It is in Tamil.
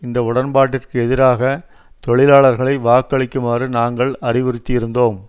இந்த உடன்பாட்டிற்கு எதிராக தொழிலாளர்களை வாக்களிக்குமாறு நாங்கள் அறிவுறுத்தி இருந்தோம்